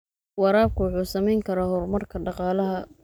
Waraabku wuxuu saamayn karaa horumarka dhaqaalaha.